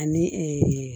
Ani